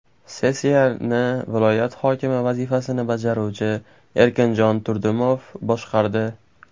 Sessiyani viloyat hokimi vazifasini bajaruvchi Erkinjon Turdimov boshqardi.